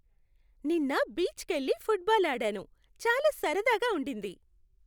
నిన్న బీచ్కెళ్లి ఫుట్బాల్ ఆడాను. చాలా సరదాగా ఉండింది.